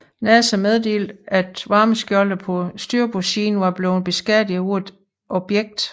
NASA meddelte at varmeskjoldet på styrbordssiden var blevet beskadiget af et objekt